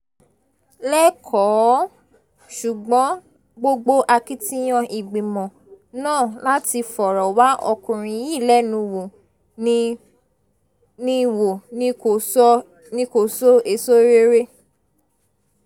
lẹ́kọ̀ọ́ ṣùgbọ́n gbogbo akitiyan ìgbìmọ̀ náà láti fọ̀rọ̀ wá ọkùnrin yìí lẹ́nu wò ni wò ni kò so èso rere